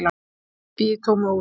Ég bý í tómu húsi.